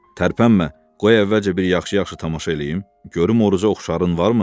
Tərpənmə, qoy əvvəlcə bir yaxşı-yaxşı tamaşa eləyim, görüm Oruca oxşarın varmı?